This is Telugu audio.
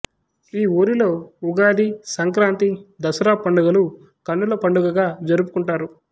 ఈ ఊరిలో ఉగాది సంక్రాంతి దసరా పండుగలు కన్నుల పండుగగా జరుపుకుంటారు